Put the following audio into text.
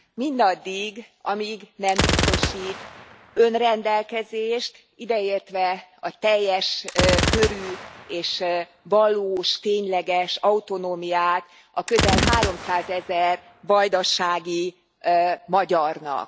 mindaddig, amíg nem biztosít önrendelkezést, ideértve a teljes körű és valós, tényleges autonómiát a közel háromszázezer vajdasági magyarnak.